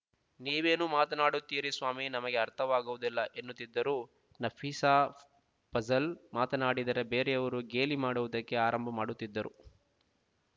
ನೀವೇನು ಮಾತನಾಡುತ್ತೀರಿ ಸ್ವಾಮಿ ನಮಗೆ ಅರ್ಥವಾಗುವುದಿಲ್ಲ ಎನ್ನುತ್ತಿದ್ದರು ನಫಿಸಾ ಫಜಲ್ ಮಾತನಾಡಿದರೆ ಬೇರೆಯುವರು ಗೇಲಿ ಮಾಡುವುದಕ್ಕೆ ಆರಂಭ ಮಾಡುತ್ತಿದ್ದರು